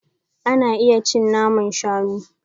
Ana iya cin naman shanu.